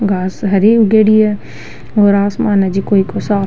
घास हरी उगेड़ी है और आसमान है जेको साफ --